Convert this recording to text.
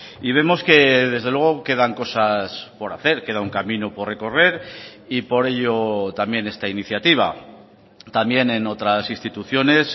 y vemos que desde luego quedan cosas por hacer queda un camino por recorrer y por ello también esta iniciativa también en otras instituciones